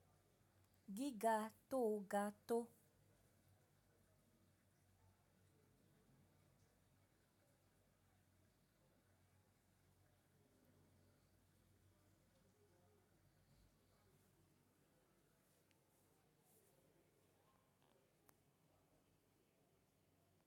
Giga to ga to.